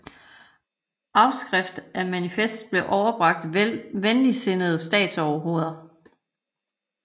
Afskrift af manifestet blev overbragt venligtsindede statsoverhoveder